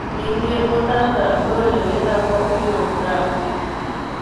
Ningĩ mũtaratara ũyũ nĩ wĩtagwo urography.